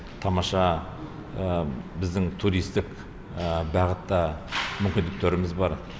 тамаша біздің туристік бағытта мүмкіндіктеріміз бар